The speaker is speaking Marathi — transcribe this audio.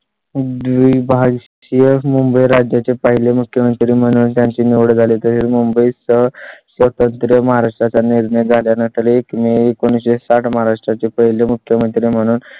जुळे शहर मुंबई राज्या चे पहिले मुख्यमंत्री म्हणून त्यांची निवड झाली तरी मुंबई सह स्वतंत्र महाराष्ट्रा चा निर्णय झाल्यानंतर मे एकोणीस शे साठ महाराष्ट्रा चे पहिले मुख्यमंत्री म्हणून